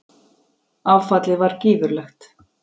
Áfallið var gífurlegt.